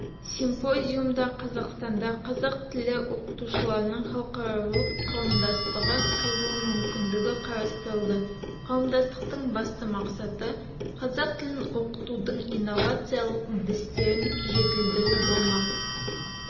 симпозиумда қазақстанда қазақ тілі оқытушыларының халықаралық қауымдастығы құрылу мүмкіндігі қарастырылды қауымдастықтың басты мақсаты қазақ тілін оқытудың инновациялық дістерін жетілдіру болмақ